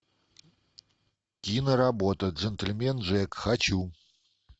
киноработа джентельмен джек хочу